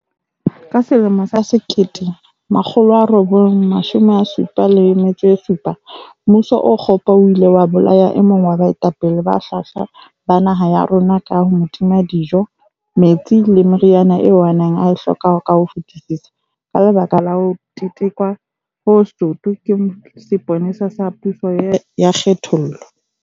Ka selemo sa 1977, mmuso o kgopo o ile wa bolaya e mong wa baetapele ba hlwahlwa ba naha ya rona ka ho mo tima dijo, metsi le meriana eo a neng a e hloka ka ho fetisisa ka lebaka la ho tetekwa ho soto ke sepolesa sa puso ya kgenthollo.